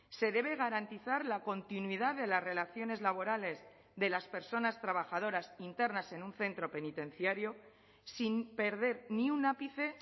se debe garantizar la continuidad de las relaciones laborales de las personas trabajadoras internas en un centro penitenciario sin perder ni un ápice